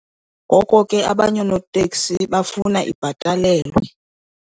Ngoko ke abanye oonoteksi bafuna ibhatalelwe.